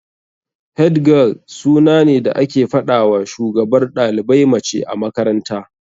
Head girl suna ne da ake fadawa shugabar dalibai mace a makaranta.